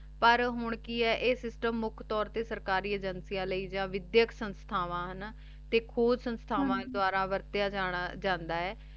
ਪਰ ਹਨ ਕੀ ਆਯ ਆਯ system ਸਰਕਾਰੀ ਅਗੇੰਕਿਯਾਂ ਲੈ ਯਾ ਵਿਧ੍ਯਕ ਸੰਸਥਾਵਾਂ ਨਾ ਹਾਨਾ ਖੂਜ ਸੰਸਥਾਵਾਂ ਦਵਾਰਾ ਵਾਰ੍ਤ੍ਯਾ ਜਾਂਦਾ ਆਯ